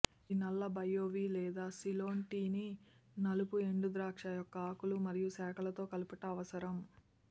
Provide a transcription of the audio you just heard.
ఇది నల్ల బాయోవీ లేదా సిలోన్ టీని నలుపు ఎండుద్రాక్ష యొక్క ఆకులు మరియు శాఖలతో కలుపుట అవసరం